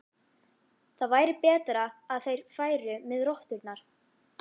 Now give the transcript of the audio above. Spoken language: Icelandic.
Það væri betra að þeir færu með rotturnar.